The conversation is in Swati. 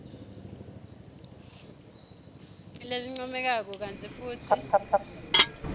lelincomekako kantsi futsi